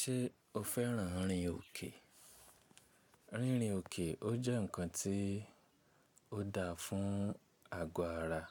Ṣé o féràn rìn òkè? Rírìn òkè o jẹ́ ǹkan tí ó dáa fún àgọ́ ara.